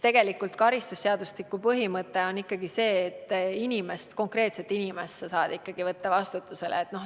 Karistusseadustiku põhimõte on ikkagi see, et vastutusele saab võtta konkreetse inimese.